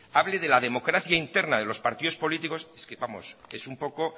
hable de la democracia interna de los partidos políticos es que vamos es un poco